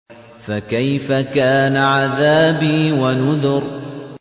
فَكَيْفَ كَانَ عَذَابِي وَنُذُرِ